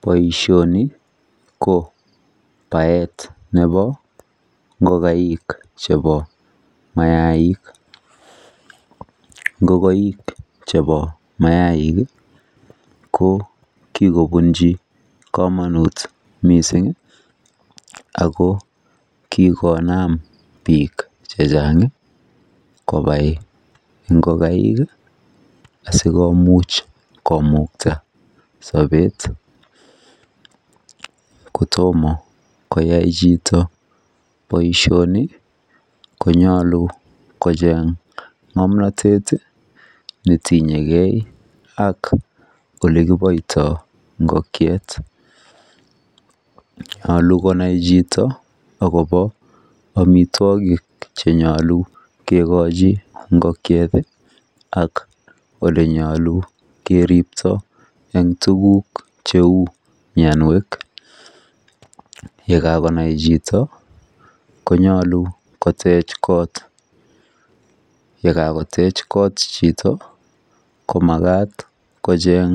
Boishoni ko baet nebo ngokaik chebo mayaik, ingokaik chebo mayaik ko kokobunchi komonut missingi ako kikonam nik chechang konai ingokaik asikomuch komukta sobet kotomo koyai chito boishoni konyolu kocheng ngomnotet netinyegee ak olekiboito ingokiet. Nyolu konai chito akobo omitwokik chenyolu konai ingokieti ak olenyolu keripto en tukuk cheu mionwek, yekakonai chito konyolu kotech kot yekakotech kot chito komakat kocheng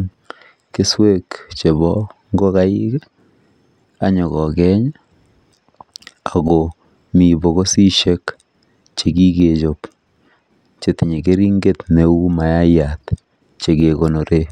keswek chebo ingokaik anyokokeny akomii bokisisiek chekikechob chetinye keringet cheu maiyat chekekonoren.